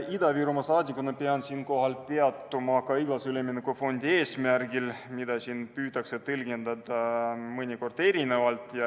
Ida-Virumaa saadikuna pean siinkohal peatuma igal üleminekufondi eesmärgil, kuna neid on püütud erinevalt tõlgendada.